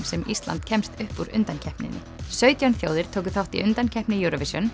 sem Ísland kemst upp úr undankeppninni sautján þjóðir tóku þátt í undankeppni Eurovision